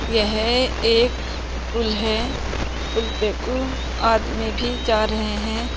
यह एक पुल है। पुल पे कु आदमी भी जा रहे हैं।